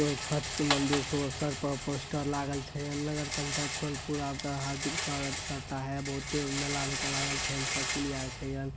छठ के मंदिर शुभ अवसर पर पोस्टर लागल छै नगर पंचायत सोनपुर आपका हार्दिक स्वागत करता है बोहोते मेला जका लागल छै साइकिल आर छै हन ---